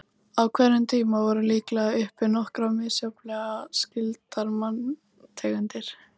Á hverjum tíma voru líklega uppi nokkrar misjafnlega skyldar manntegundir.